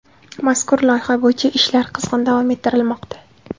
Mazkur loyiha bo‘yicha ishlar qizg‘in davom ettirilmoqda.